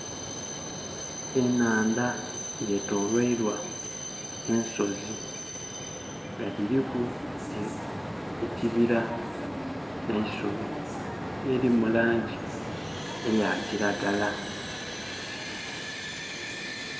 Enandha yetolweilwa ensozi nga dhiriku ekibira ne eisubi eliri mu langi eya kiragala.